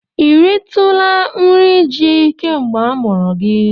I utara nri ji kemgbe a mụrụ gị?